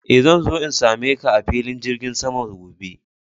Eh, zan zo in same ka a filin jirgin saman gobe.